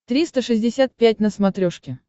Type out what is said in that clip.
триста шестьдесят пять на смотрешке